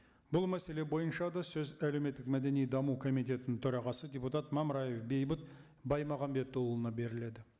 бұл мәселе бойынша да сөз әлеуметтік мәдени даму комитетінің төрағасы депутат мамраев бейбіт баймағамбетұлына беріледі